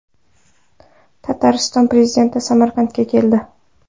Tatariston prezidenti Samarqandga keldi.